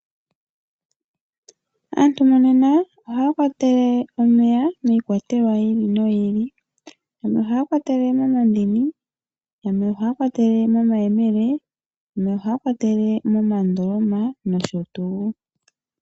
Aantu monena ohaya kwatele omeya miikwatelwa yiili noyili . Yamwe ohaya kwatele momandini, yamwe omomayemele , yamwe omomandoloma noshotuu.